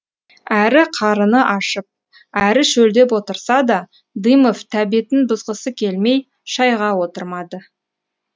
әрі қарыны ашып әрі шөлдеп отырса да дымов тәбетін бұзғысы келмей шайға отырмады